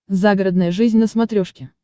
загородная жизнь на смотрешке